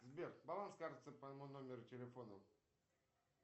сбер баланс карты по моему номеру телефона